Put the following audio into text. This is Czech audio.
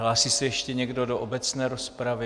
Hlásí se ještě někdo do obecné rozpravy?